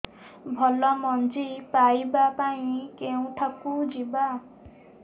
ଭଲ ମଞ୍ଜି ପାଇବା ପାଇଁ କେଉଁଠାକୁ ଯିବା